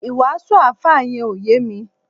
iwasu alfa yen o ye mi